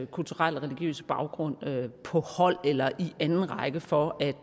kulturelle religiøse baggrund på hold eller i anden række for at